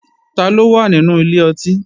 Taló wà nínú ilé ọtí?